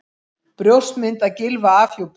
Brjóstmynd af Gylfa afhjúpuð